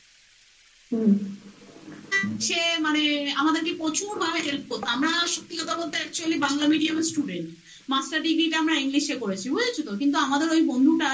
সে মানে আমাদেরকে প্রচুর help করত আমরা সত্যি কথা বলতে বাংলা medium এর student master degree টা আমরা english এ করেছি বুঝেত তো? কিন্তু আমাদের ওই বন্ধুটা